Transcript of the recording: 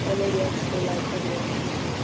Elínbjörg, spilaðu tónlist.